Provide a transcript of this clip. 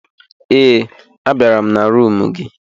Ee, a bịara m na rumụ gị.